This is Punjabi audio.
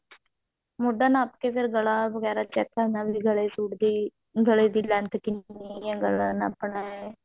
ਮੋਢਾ ਨਾਪ ਕੇ ਫ਼ੇਰ ਗਲਾ ਵਗੇਰਾ check ਕਰਨਾ ਵੀ ਗਲੇ ਸੂਟ ਦੀ ਗਲੇ ਦੀ length ਕਿੰਨੀ ਹੈ ਗਲਾ ਨਾਪਣਾ ਹੈ